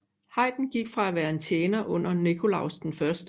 Haydn gik fra at være en tjener under Nikolaus I